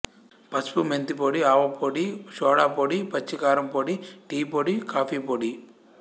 పసుపు మెంతి పొడి ఆవ పొడి షొడా పొడి పచ్చికారం పొడి టీ పొడి కాఫీ పొడి